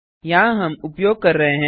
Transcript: यहाँ हम उपयोग कर रहे हैं